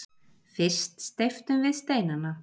Fyrst steyptum við steinana.